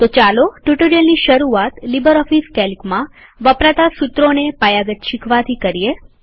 તો ચાલો ટ્યુટોરીયલની શરૂઆત લીબરઓફીસ કેલ્કમાં વપરાતા સુત્રોને પાયાગત શીખવાથી કરીએ